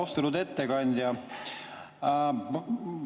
Austatud ettekandja!